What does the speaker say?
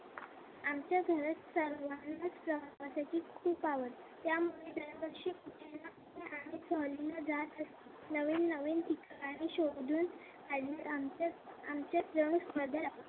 सर्वांना प्रवासाची खूप आवड. त्यामुळे दरवर्षी कुठे ना कुठे आम्ही सहलीला जात असतो. नवीन नवीन ठिकाणे शोधून आम्ही आमचे आमच्यामध्ये